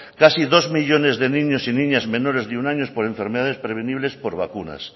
casi dos millónes de niños y niñas menores de un año por enfermedades prevenibles por vacunas